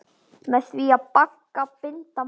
Með því bagga binda má.